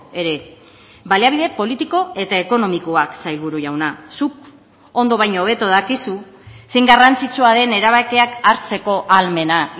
ere baliabide politiko eta ekonomikoak sailburu jauna zuk ondo baino hobeto dakizu zein garrantzitsua den erabakiak hartzeko ahalmena